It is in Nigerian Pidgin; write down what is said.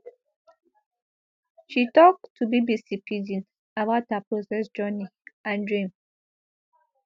she tok to bbc pidgin about her process journey and dream